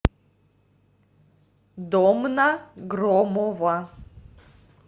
домна громова